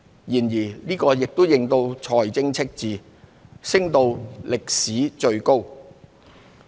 然而，這亦令財政赤字升至歷來最高。